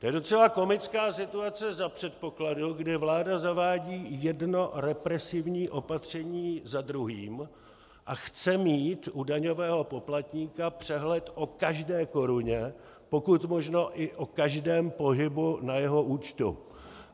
To je docela komická situace za předpokladu, kdy vláda zavádí jedno represivní opatření za druhým a chce mít u daňového poplatníka přehled o každé koruně, pokud možno i o každém pohybu na jeho účtu.